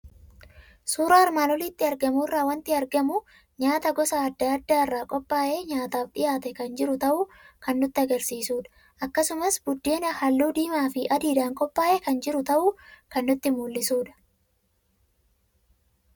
Suuraa armaan olitti argamu irraa waanti argamu; nyaata gosa adda addaarra qophaa'ee nyaataaf dhiyaatee kan jiru ta'uu kan nutti agarsiisudha. Akkasumas buddeena halluu diimaafi adiidhaan qophaa'ee kan jiru ta'uu kan nutti mul'isudha.